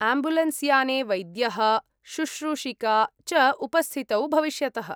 Ambulance याने वैद्यः शुष्रूषिका च उपस्थितौ भविष्यतः।